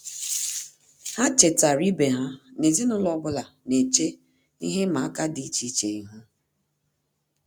Há chètàrà ibe ha na ezinụlọ ọ bụla nà-échè ihe ịma aka dị́ iche iche ihu.